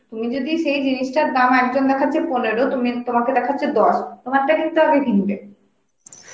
তুমি যদি সেই জিনিসটার দাম একজন দেখাচ্ছে পনেরো তুমি, তোমাকে দেখাচ্ছে দস, তোমারটা কিন্তু আগে কিনবে